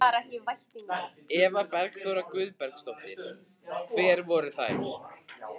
Eva Bergþóra Guðbergsdóttir: Hvernig voru þær?